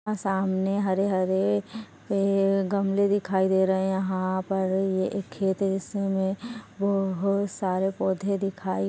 यहाँ सामने हरे हरे गमले दिखाई दे रहे है। यहाँ पर एक खेत है इसमें हमें बहुत सरे पौधे दिखाई--